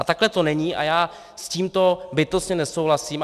A takhle to není a já s tímto bytostně nesouhlasím.